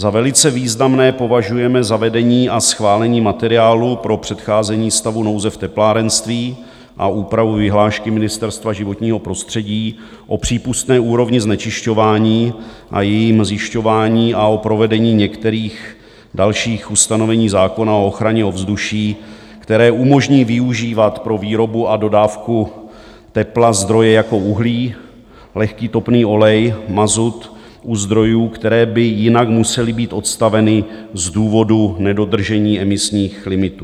Za velice významné považujeme zavedení a schválení materiálu pro předcházení stavu nouze v teplárenství a úpravu vyhlášky Ministerstva životního prostředí o přípustné úrovni znečišťování a jejím zjišťování a o provedení některých dalších ustanovení zákona o ochraně ovzduší, které umožní využívat pro výrobu a dodávku tepla zdroje jako uhlí, lehký topný olej, mazut u zdrojů, které by jinak musely být odstaveny z důvodu nedodržení emisních limitů.